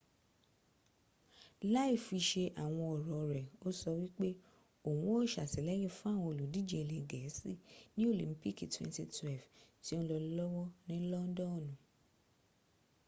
láìfisẹ àwọn ọ̀rọ̀ re o sọ wípé òhun o sàtìlẹyìn fún àwọn òlùdíjẹ ilẹ gẹ̀ẹ́sí ní olimpiki 2012 tí o n lọ lọ́wọ́ ni londonu